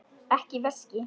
Ekki veski.